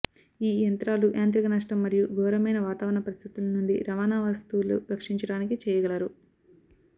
ఈ యంత్రాలు యాంత్రిక నష్టం మరియు ఘోరమైన వాతావరణ పరిస్థితులు నుండి రవాణా వస్తువులు రక్షించడానికి చేయగలరు